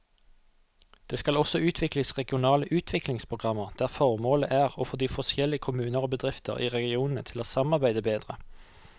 Det skal også utvikles regionale utviklingsprogrammer der formålet er å få de forskjellige kommuner og bedrifter i regionene til å samarbeide bedre.